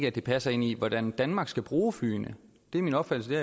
at det passer ind i hvordan danmark skal bruge flyene det er min opfattelse